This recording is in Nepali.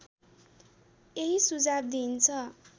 यही सुझाव दिइन्छ